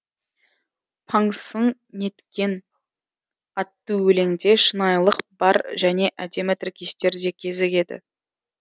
паңсың неткен атты өлеңде шынайылық бар және әдемі тіркестер де кезігеді